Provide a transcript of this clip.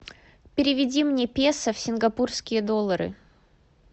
переведи мне песо в сингапурские доллары